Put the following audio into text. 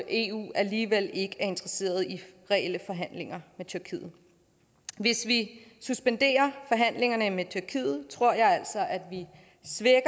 eu alligevel ikke er interesseret i reelle forhandlinger med tyrkiet hvis vi suspenderer forhandlingerne med tyrkiet tror jeg altså at vi